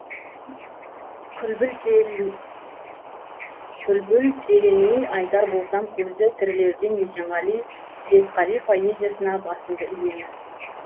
күлбілтелемей айтар болсам көзі тірілерден есенғали светқали поэзиясына басымды иемін